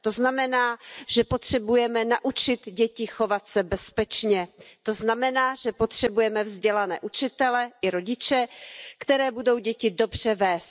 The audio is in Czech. To znamená, že potřebujeme naučit děti chovat se bezpečně a že potřebujeme vzdělané učitele i rodiče, kteří budou děti dobře vést.